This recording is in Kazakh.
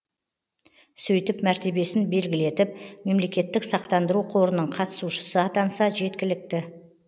сөйтіп мәртебесін белгілетіп мемлекеттік сақтандыру қорының қатысушысы атанса жеткілікті